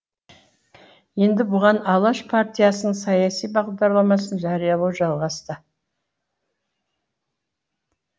енді бұған алаш партиясының саяси бағдарламасын жариялау жалғасты